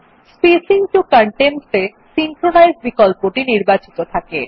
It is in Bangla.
স্পেসিং টো কনটেন্টস এ সিনক্রোনাইজ বিকল্পটি নির্বাচিত থাকে